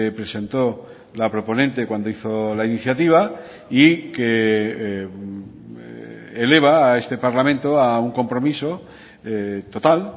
presentó la proponente cuando hizo la iniciativa y que eleva a este parlamento a un compromiso total